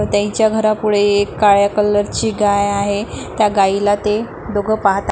त्यांच्या घरापुढे काळ्या कलर ची गाय आहे त्या गायीला ते दोघ पाहत --